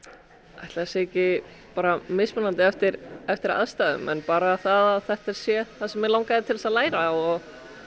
ætli það sé ekki mismunandi eftir eftir aðstæðum en bara það að þetta sé það mig langaði að læra og